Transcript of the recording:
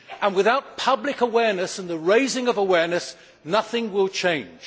Without public awareness and the raising of awareness, nothing will change.